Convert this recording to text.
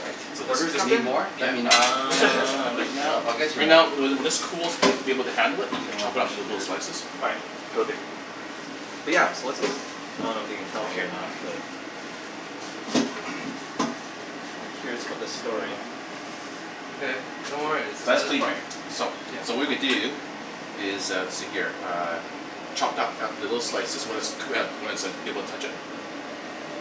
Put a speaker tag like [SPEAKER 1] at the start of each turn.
[SPEAKER 1] Right,
[SPEAKER 2] So
[SPEAKER 1] what
[SPEAKER 2] this is
[SPEAKER 1] just
[SPEAKER 2] just,
[SPEAKER 3] Need
[SPEAKER 1] happened?
[SPEAKER 3] more? Let
[SPEAKER 2] yeah,
[SPEAKER 3] me know.
[SPEAKER 2] uh, right now,
[SPEAKER 3] I'll get you
[SPEAKER 2] right
[SPEAKER 3] more.
[SPEAKER 2] now, when this when this cools and you'll be able to handle it. You can chop it up into little slices.
[SPEAKER 1] Alright, cool dude. But yeah, so what's this? I don't know if you can tell me or not but I'm curious about this story.
[SPEAKER 4] Okay, no worries.
[SPEAKER 2] That's clean right. So,
[SPEAKER 4] Yeah.
[SPEAKER 2] so what we're gonna do is uh see here. Uh chopped up little slices when it's cook- when it's like, you be able to touch it,